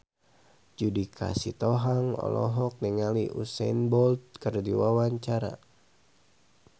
Judika Sitohang olohok ningali Usain Bolt keur diwawancara